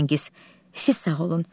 Firəngiz, siz sağ olun.